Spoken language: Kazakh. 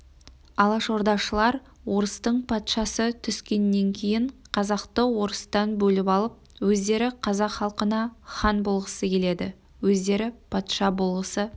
алашордашылдар орыстың патшасы түскеннен кейін қазақты орыстан бөліп алып өздері қазақ халқына хан болғысы келеді өздері патша болғысы